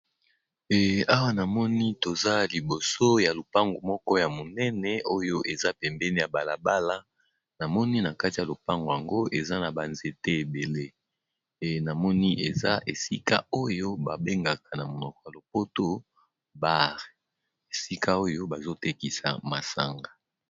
Eh awa na moni toza liboso ya lopango moko ya monene oyo eza pembeni ya balabala namoni na kati ya lopango yango eza na banzete ebele e namoni eza esika oyo babengaka na monoko ya lopoto baare esika oyo bazotekisa masanga.